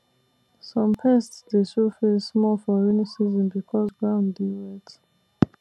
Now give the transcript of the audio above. some pest dey show face more for rainy season because ground dey wet